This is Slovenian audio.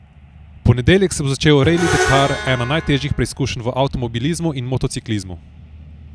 V ponedeljek se bo začel Reli Dakar, ena najtežjih preizkušenj v avtomobilizmu in motociklizmu.